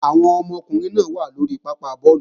Àwọn ọmọkùnrin náà wà lóri pápá bọ́ọ̀lù